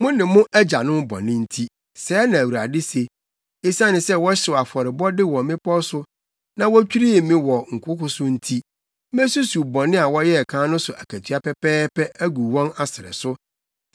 mo ne mo agyanom bɔne nti,” sɛɛ na Awurade se. “Esiane sɛ wɔhyew afɔrebɔde wɔ mmepɔw so na wotwirii me wɔ nkoko so nti mesusuw bɔne a wɔyɛɛ kan no so akatua pɛpɛɛpɛ agu wɔn asrɛ so.”